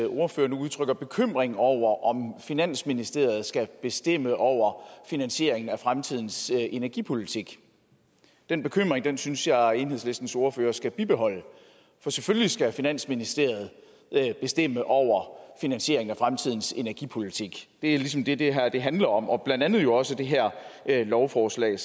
ordfører nu udtrykker bekymring over om finansministeriet skal bestemme over finansieringen af fremtidens energipolitik den bekymring synes jeg enhedslistens ordfører skal bibeholde for selvfølgelig skal finansministeriet bestemme over finansieringen af fremtidens energipolitik det er ligesom det det her handler om og blandt andet jo også det her lovforslag